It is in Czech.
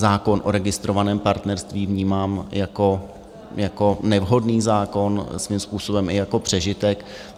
Zákon o registrovaném partnerství vnímám jako nevhodný zákon, svým způsobem i jako přežitek.